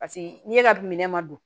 Paseke n'i ye ka minɛn ma don